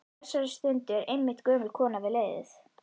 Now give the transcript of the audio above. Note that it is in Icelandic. Á þessari stundu er einmitt gömul kona við leiðið.